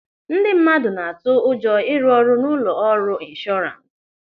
Ndị mmadụ na-atụ ụjọ ịrụ ọrụ n'ụlọ ọrụ inshọrans.